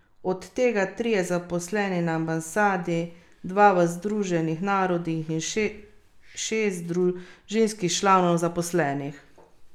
Od tega trije zaposleni na ambasadi, dva v Združenih narodih in še šest družinskih članov zaposlenih.